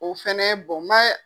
O fɛnɛ n ma